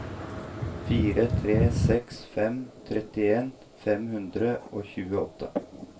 fire tre seks fem trettien fem hundre og tjueåtte